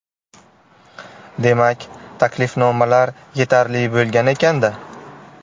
Demak, taklifnomalar yetarli bo‘lgan ekan-da.